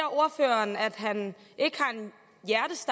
han ikke